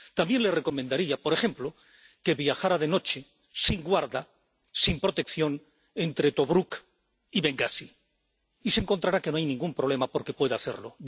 También le recomendaría, por ejemplo, que viajara de noche, sin guarda, sin protección, entre Tobruk y Bengasi, y se encontrará que no hay ningún problema, porque puede hacerlo.